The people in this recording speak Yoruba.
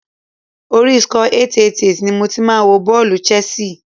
Orí Scores888 ni mo ti máa wo bọ́ọ̀lù Chelsea.